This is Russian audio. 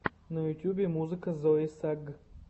на ютюбе музыка зои сагг